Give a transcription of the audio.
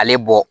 Ale bɔ